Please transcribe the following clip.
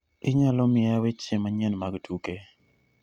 inaylo mia weche manyien mag tuke